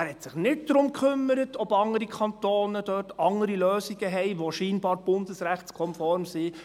» Er kümmerte sich nicht darum, ob andere Kantone andere Lösungen haben, die scheinbar bundesrechtskonform sind.